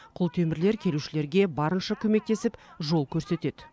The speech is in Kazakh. құлтемірлер келушілерге барынша көмектесіп жол көрсетеді